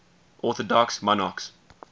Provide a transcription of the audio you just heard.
orthodox monarchs